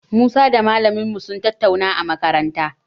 Musa da malamin mu sun tattauna a makaranta.